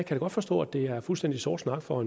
jeg godt forstå at det er fuldstændig sort snak for